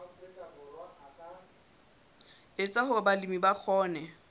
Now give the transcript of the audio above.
etsa hore balemi ba kgone